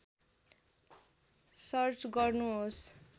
search गर्नुहोस्